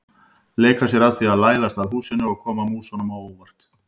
Leika sér að því að læðast að húsinu og koma músunum á óvart.